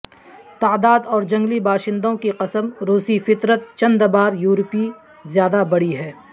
تعداد اور جنگلی باشندوں کی قسم روسی فطرت چند بار یورپی زیادہ بڑی ہے